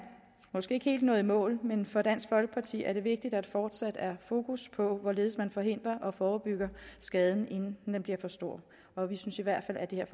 måske ikke helt nået i mål men for dansk folkeparti er det vigtigt at der fortsat er fokus på hvorledes man forhindrer og forebygger skaden inden den bliver for stor og vi synes i hvert fald at det